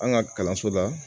An ka kalanso la